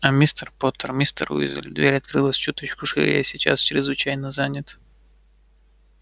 а мистер поттер мистер уизли дверь открылась чуточку шире я сейчас чрезвычайно занят